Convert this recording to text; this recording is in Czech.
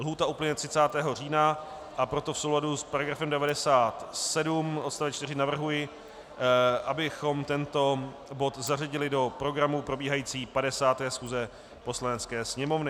Lhůta uplyne 30. října, a proto v souladu s § 97 odst. 4 navrhuji, abychom tento bod zařadili do programu probíhající 50. schůze Poslanecké sněmovny.